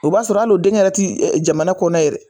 O b'a sɔrɔ alo denkɛ yɛrɛ ti jamana kɔnɔ yɛrɛ.